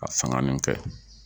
Ka fanga nin kɛ.